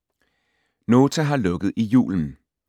Nota har lukket i julen